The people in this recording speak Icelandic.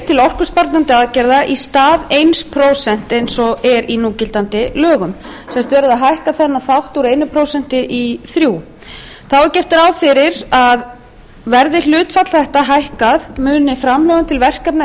til orkusparandi aðgerða í stað eitt prósent eins og er í núgildandi lögum það er verið að hækka þennan þátt úr einu prósenti í þrjú prósent þá er gert ráð fyrir að verði hlutfall þetta hækkað muni framlögum til verkefna